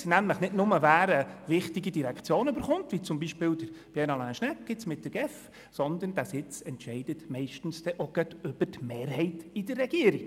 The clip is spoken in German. Er entscheidet nämlich nicht nur, wer eine wichtige Direktion erhält, wie beispielsweise Regierungsrat Pierre Alain Schnegg mit der GEF, sondern dieser Sitz entscheidet dann meistens auch gerade über die Mehrheit in der Regierung.